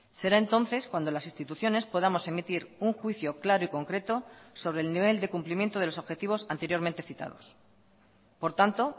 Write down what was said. será entonces cuando las instituciones podamos emitir un juicio claro y concreto sobre el nivel de cumplimiento de los objetivos anteriormente citados por tanto